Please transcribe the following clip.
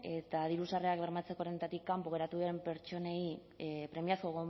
eta diru sarrerak bermatzeko errentatik kanpo geratu diren pertsonei premiazko